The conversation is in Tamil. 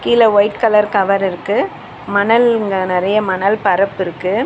கீழ ஒயிட் கலர் கவர் இருக்கு மணல்ங்க நெறைய மணல் பரப்பு இருக்கு.